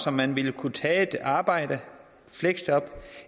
om man vil kunne tage et arbejde et fleksjob